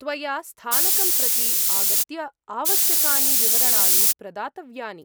त्वया स्थानकं प्रति आगत्य आवश्यकानि विवरणानि प्रदातव्यानि।